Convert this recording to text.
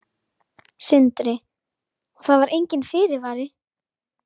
Sindri: Og það var enginn fyrirvari?